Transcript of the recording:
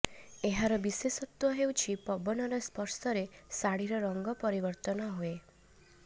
ଏହାର ବିଶେଷତ୍ବ ହେଉଛି ପବନର ସ୍ପର୍ଶରେ ଶାଢ଼ିର ରଙ୍ଗ ପରିବର୍ତ୍ତନ ହୁଏ